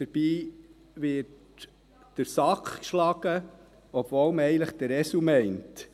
dabei wird der Sack geschlagen, obwohl man eigentlich den Esel meint.